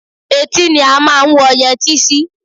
Etí ni a máa ń wọ yẹtí sí